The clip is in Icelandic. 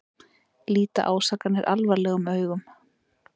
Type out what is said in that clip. Líta ásakanir alvarlegum augum